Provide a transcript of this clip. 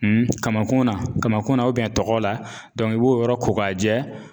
kamankun na kamankunna ubiyɛn tɔgɔ la dɔnku e b'o yɔrɔ ko k'a jɛ